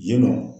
Yen nɔ